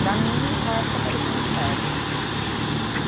Para mim, naquela época, parecia um inferno, né.